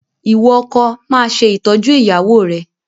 Ìwọ ọkọ, máa ṣe ìtọ́jú ìyàwó rẹ̀!